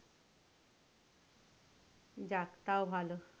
যাক তাও ভালো।